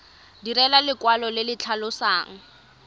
direlwa lekwalo le le tlhalosang